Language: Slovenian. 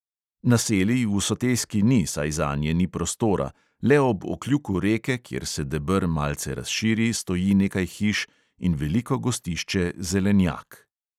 Naselij v soteski ni, saj zanje ni prostora, le ob okljuku reke, kjer se deber malce razširi, stoji nekaj hiš in veliko gostišče zelenjak.